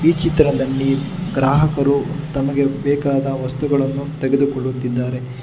ಈ ಚಿತ್ರದಲ್ಲಿ ಗ್ರಾಹಕರು ತಮಗೆ ಬೇಕಾದ ವಸ್ತುಗಳನ್ನು ತೆಗೆದುಕೊಳ್ಳುತ್ತಿದ್ದಾರೆ.